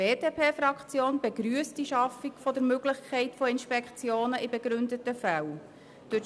Die BDP-Fraktion begrüsst die Schaffung der Möglichkeit von Inspektionen in begründeten Fällen.